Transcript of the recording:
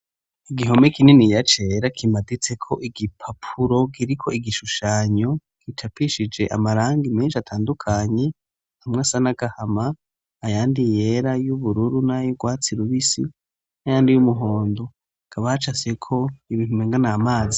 Igihome k'inini cera kimaditseko igipapuro giriko igishushanyo kicapishije amarangi menshi atandukanye amwe asa nagahama ayandi yera, y'ubururu , n'ayu gwatsi rubisi ayandi y'umuhondo hakaba hacafyeko ibintu umenga n'amazi